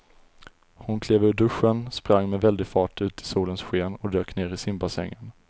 Hon klev ur duschen, sprang med väldig fart ut i solens sken och dök ner i simbassängen.